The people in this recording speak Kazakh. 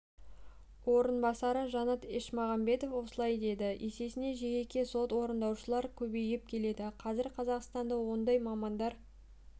орынбасары жанат ешмағамбетов осылай деді есесіне жеке сот орындаушылар көбейіп келеді қазір қазақстанда ондай мамандар